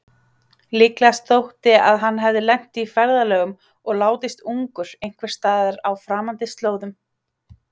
Líklegast þótti að hann hefði lent í ferðalögum og látist ungur einhversstaðar á framandi slóðum.